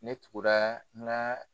Ne tugura n ka